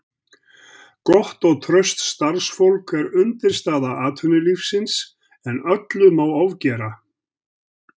Gott og traust starfsfólk er undirstaða atvinnulífsins en öllu má ofgera.